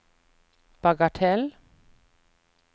bagatell